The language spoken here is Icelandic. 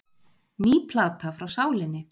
Ný plata frá Sálinni